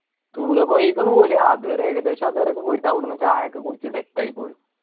പൊയിക്കുന്ന പോലെ അത് വരെ ഏകദേശം അതുവരെക്കെ പോയിട്ട് അവുടുന്നു ചായക്കെ കുടിച്ചു set ആയി പോരും